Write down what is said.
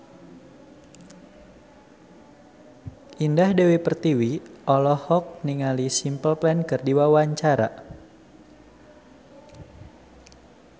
Indah Dewi Pertiwi olohok ningali Simple Plan keur diwawancara